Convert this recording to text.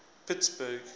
pittsburgh